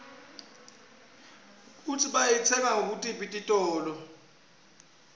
kutsi bayitsenga kutiphi titolo